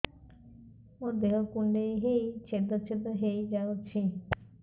ମୋ ଦେହ କୁଣ୍ଡେଇ ହେଇ ଛେଦ ଛେଦ ହେଇ ଯାଉଛି